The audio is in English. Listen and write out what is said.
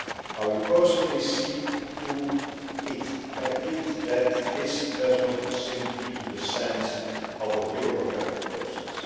I will personally see to it that this does not sink into the sands of a bureaucratic process.